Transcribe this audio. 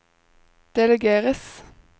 delegeres